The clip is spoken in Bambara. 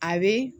A be